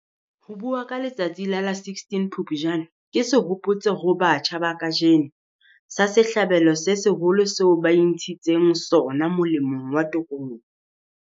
Ho bua ka letsatsi la la 16 Phupjane ke sehopotso ho batjha ba kajeno, sa sehlabelo se seholo seo ba intshitseng sona molemong wa tokoloho.